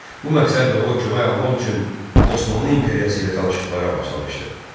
Bu məqsədlə o, kömək almaq üçün Osmanlı İmperiyası ilə danışıqlara başlamışdı.